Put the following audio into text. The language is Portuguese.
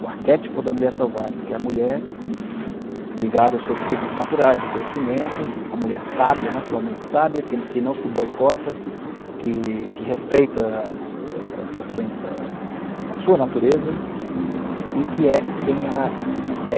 O arquétipo da mulher selvagem, que é a mulher ligada aos seus ciclos naturais de crescimento, a mulher sábia, naturalmente sábia, que que não se boicota, que que respeita as as as sua a a a sua natureza e que é quem ela é.